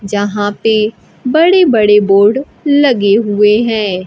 जहां पे बड़े बड़े बोर्ड लगे हुए हैं।